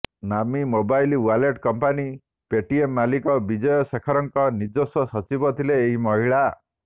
ନାମୀ mobile wallet company Paytm ମାଲିକ ବିଜୟ ଶେଖରଙ୍କ ନିଜସ୍ବ ସଚିବ ଥିଲେ ଏହି ମହିଳା